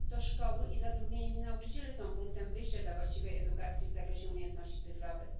To szkoły i zatrudnieni w nich nauczyciele są punktem wyjścia dla właściwej edukacji w zakresie umiejętności cyfrowych.